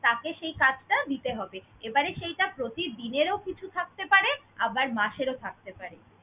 তাকে সেই কাজটা দিতে হবে, এবারে সেইটা প্রতিদিনেরও কিছু থাকতে পারে আবার মাসেরও থাকতে পারে।